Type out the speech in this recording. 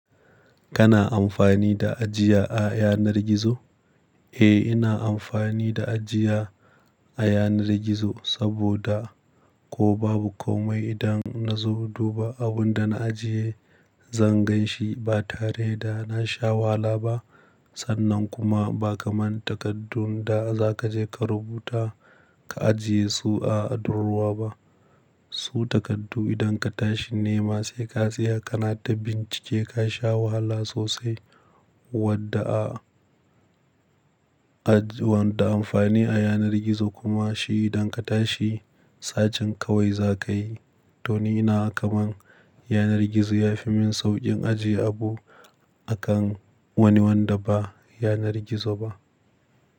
Kana amfani da ajiya a yanar gizo? Eh, ina amfani da ajiya a yanar gizo saboda ko babu komai idan na zo duba abunda na ajiye, zan gan shi ba tare da na sha wahala ba. Sannan kuma ba kaman takardun da za kaje ka rubuta ka ajiye su a durrowa ba. Su takardu idan ka tashi nema sai ka tsaya kana ta bincike ka sha wahala sosai wadda a, aji wadda amfani a yanar gizo kuma shi idan ka tashi, sacin kawai za ka yi. To ni naga kaman yanar gizo yafi min sauƙin ajiye abu akan wani wanda ba yanar gizo ba.